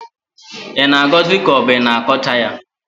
ị na-agọzi ka ọ bụ i na-akọcha ya?